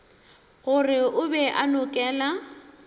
gore o be a nokela